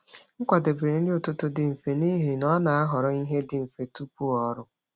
M kwadebere nri ụtụtụ dị mfe n’ihi na ọ na-ahọrọ ihe dị mfe tupu ọrụ.